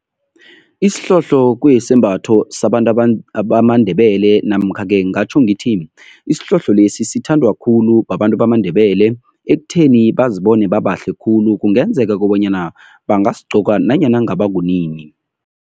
Isihlohlo kuyisembatho sabantu bamaNdebele namkha-ke ngingatjho ngithi, isihlohlo lesi sithandwa khulu babantu bamaNdebele ekutheni bazibone babahle khulu. Kungenzeka kobanyana bangasigcoka nanyana kungaba kunini.